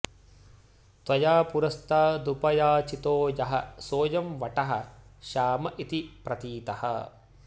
त्वया पुरस्तादुपयाचितो यः सोऽयं वटः श्याम इति प्रतीतः